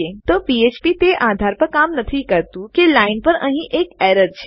તો ફ્ફ્પ પીએચપી તે આધાર પર કામ નથી કરતુ કે આ લાઈન પર અહીં એક એરર છે